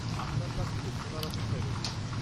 আপনার কাছ থেকে শোনার অপেক্ষায় রইলাম।